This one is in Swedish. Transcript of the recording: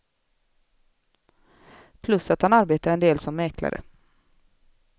Plus att han arbetar en del som mäklare.